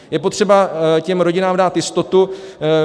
Je potřeba těm rodinám dát jistotu.